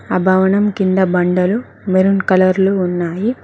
ఆ భవనం కింద బండలు మెరూన్ కలర్లు ఉన్నాయి.